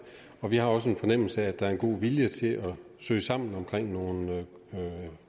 og vi har også en fornemmelse af at der er en god vilje til at søge sammen omkring nogle